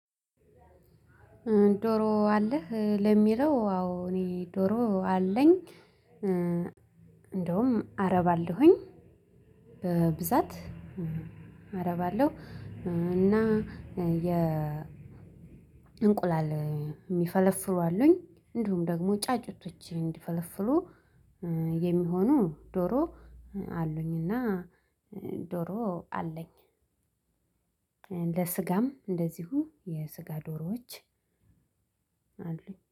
ዶሮ አለህ ለሚለው? አዎ። እኔ ዶሮ አለኝ እንደውም አረባለሁኝ በብዛት አረባለሁ። እና የ እንቁላል የሚፈለፍሉ አሉኝ። እንዲሁም ደግሞ ጫጩቶች እንዲፈለፍሉ የሚሆኑ ዶሮ አሉኝ። እና ዶሮ አለኝ። ለስጋም እንደዚሁ የስጋ ዶሮዎች አሉኝ